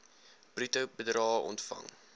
bruto bedrae ontvang